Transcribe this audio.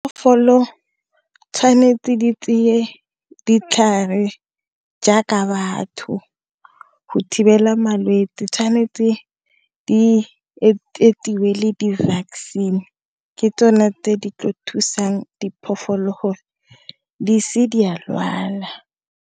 tshwanetse di tseye ditlhare jaaka batho go thibela malwetsi tshwanetse di le di-vaccine ke tsone tse di tlo thusang diphologolo gore di seke di a lwala.